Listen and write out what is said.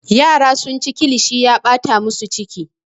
Yara sunci kilishi ya ɓata musu ciki.